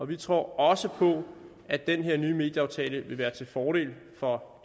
vi tror også på at den her nye medieaftale vil være til fordel for